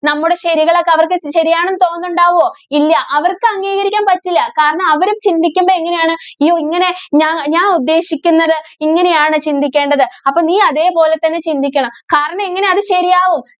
നമ്മുടെ ശരികളൊക്കെ അവര്‍ക്ക് ശരിയാണെന്ന് തോന്നുന്നുണ്ടാവോ? ഇല്ല, അവര്‍ക്ക് അംഗീകരിക്കാന്‍ പറ്റില്ല. കാരണം, അവരും ചിന്തിക്കുമ്പോ എങ്ങനെയാണ്? യ്യോ, ഇങ്ങനെ ഞാ~ഞാന്‍ ഉദ്ദേശിക്കുന്നത് ഇങ്ങനെയാണ് ചിന്തിക്കേണ്ടത്. അപ്പോ നീ അതേപോലെ തന്നെ ചിന്തിക്കണം. കാരണം, എങ്ങനെ അത് ശരിയാവും.